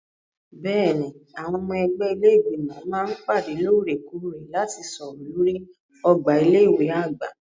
Bẹ́ẹ̀ni, àwọn ọmọ ẹgbẹ́ ilé Ìgbìmọ̀ máa ń pàdé lóòrè-kóòrè láti sọ̀rọ̀ lórí ọgbà ilé ìwé àgbà.